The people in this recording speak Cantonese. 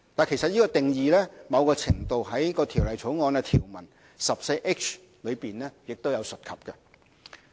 其實，這定義某程度在《條例草案》的條文第 14H 條有提及。